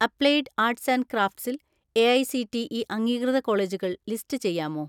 "Applied arts and ക്രാഫ്റ്റ്സിൽ AICTE അംഗീകൃത കോളേജുകൾ ലിസ്റ്റ് ചെയ്യാമോ?"